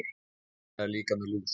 Lilla er líka með lús.